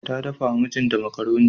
Ta dafawa mijinta makaroni.